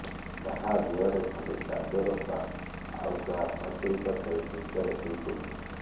କାହା ଦେହରେ ଖଣ୍ଡେ ଚାଦର ତା ଆଉ କେହି ପାଚେରୀ ପାଖରେ ଚିନ୍ତାରେ ଶୋଇ ପଡିଛନ୍ତି